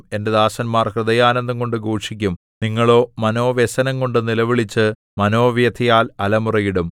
എന്റെ ദാസന്മാർ ഹൃദയാനന്ദംകൊണ്ടു ഘോഷിക്കും നിങ്ങളോ മനോവ്യസനംകൊണ്ടു നിലവിളിച്ചു മനോവ്യഥയാൽ അലമുറയിടും